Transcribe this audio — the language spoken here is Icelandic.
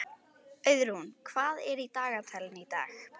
Auðrún, hvað er í dagatalinu í dag?